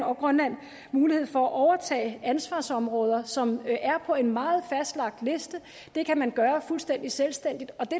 og grønland mulighed for at overtage ansvarsområder som er på en meget fastlagt liste det kan man gøre fuldstændig selvstændigt og det